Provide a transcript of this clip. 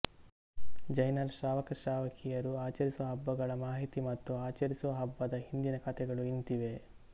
ಜೈನರ ಶ್ರಾವಕಶ್ರಾವಕಿಯರು ಆಚರಿಸುವ ಹಬ್ಬಗಳ ಮಾಹಿತಿ ಮತ್ತು ಆಚರಿಸುವ ಹಬ್ಬದ ಹಿಂದಿನ ಕಥೆಗಳು ಇಂತಿವೆ